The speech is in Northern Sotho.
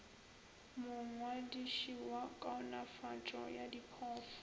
mongwadiši wa kaonafatšo ya diphoofolo